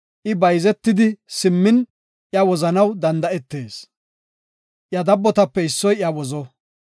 I bayzetidi simmin, iya wozanaw danda7etees; iya dabbotape issoy iya wozo.